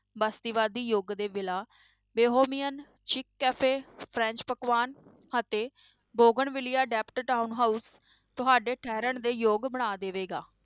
ਬਸਤੀਵਾਦੀ ਯੁੱਗ ਦੇ ਵਿਲਾ ਵਿਹੋਵੀਅਨ cafe ਫਰੈਂਚ ਪਕਵਾਨ ਅਤੇ ਬੋਗਨ ਵਿਲੀਆ ਡੈਪਟ ਟਾਊਨ ਹਾਊਸ ਤੁਹਾਡੇ ਠਹਿਰਨ ਦੇ ਯੋਗ ਬਣਾ ਦੇਵੇਗਾ।